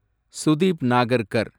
Sudeep Nagarkar